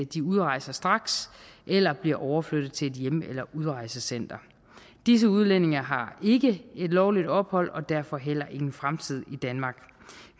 de udrejser straks eller bliver overflyttet til et hjem eller udrejsecenter disse udlændinge har ikke lovligt ophold og derfor heller ingen fremtid i danmark